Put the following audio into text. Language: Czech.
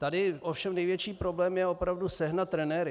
Tady ovšem největší problém je opravdu sehnat trenéry.